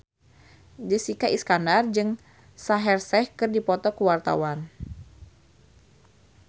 Jessica Iskandar jeung Shaheer Sheikh keur dipoto ku wartawan